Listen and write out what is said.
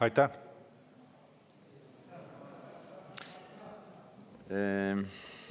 Aitäh!